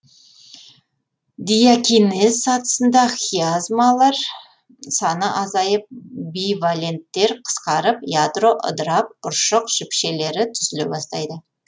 диакинез сатысында хиазмалар саны азайып биваленттер қысқарып ядро ыдырап ұршық жіпшелері түзіле бастайды